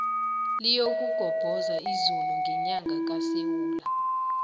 liyokugobhoza izulu ngenyanga kasewula